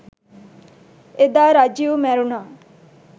එදා රජිව් මැරුණා